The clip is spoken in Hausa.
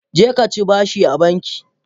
Jeka ci bashi a banki.